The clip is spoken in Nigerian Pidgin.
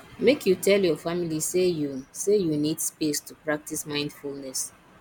make you tell your family say you say you need space to practice mindfulness